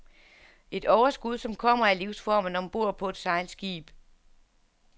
Et overskud som kommer af livsformen om bord på et sejlskib.